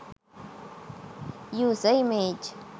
user image